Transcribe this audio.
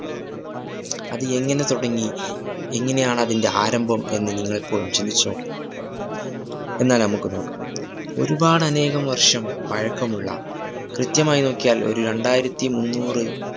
അത് എങ്ങനെ തുടങ്ങി, എങ്ങനെയാണതിന്റെ ആരംഭം എന്ന് നിങ്ങളെപ്പോളെങ്കിലും ചിന്തിച്ചു നോക്കിയിട്ടുണ്ടോ? എന്നാല്‍ നമുക്ക് നോക്കാം ഒരുപാടനേകം വര്‍ഷം പഴക്കമുള്ള, കൃത്യമായി നോക്കിയാല്‍ ഒരു രണ്ടായിരത്തി മുന്നൂറ്